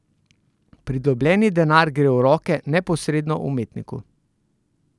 Pridobljeni denar gre v roke neposredno umetniku.